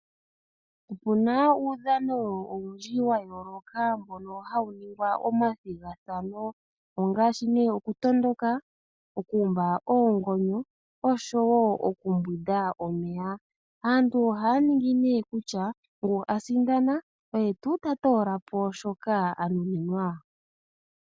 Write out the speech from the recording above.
Opuna uudhano owundji wayooloka mbono hawu ningwa omathigathano, ongaashi nee okutondoka, okuumba oongonyo, osho wo okumbwida omeya, aantu ohaa ningi nee kutya ngu asindana oye tuu tatoolapo shoka anuninwa.